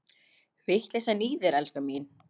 Vitleysan í þér, elskan mín!